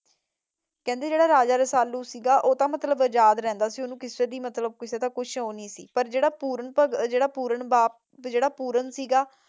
ਕਹਿੰਦੇ ਜਿਹੜਾ ਰਾਜਾ ਰਸਾਲੂ ਸੀਗਾ ਉਹ ਤਾਂ ਮਤਲਬ ਆਵਾਜ਼ ਰਹਿੰਦਾ ਸੀ ਉਹਨੂੰ ਕਿਸੀ ਸੇ ਵੀ ਕੋਈ ਸ਼ੋ ਨਹੀਂ ਸੀ ਪਰ ਜਿਹੜਾ ਪੁਰਨ ਸੀਗਾ